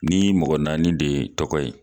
Ni mɔgɔ naani de tɔgɔ ye